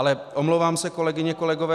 Ale omlouvám se, kolegyně, kolegové.